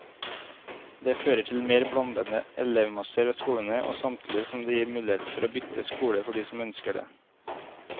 Det fører til mer blandede elevmasser ved skolene, samtidig som det gir mulighet for å bytte skole for de som ønsker det.